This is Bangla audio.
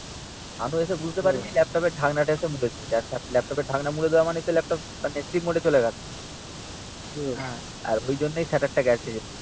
শানু এসে বুঝতে পারে নি ল্যাপটপের ঢাকনা টা এসে মুড়ে দিয়েছে। ল্যাপটপের ঢাকনা মুড়ে দেওয়া মানে ল্যাপটপ মানে স্লিপ মোডে চলে গেল। আর ওইজন্য ই স্যার্টার টা গেছে